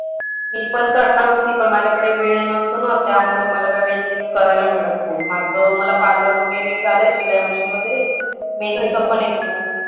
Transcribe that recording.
मी पण करणार होती पण माझ्याकडे वेळ नसतो ना त्यामुळे मला काय करायला मिळत नाही. माझं मला parlor वगैरे झालंय शिलाई machine वगैरे मेहंदीचा पण येतो.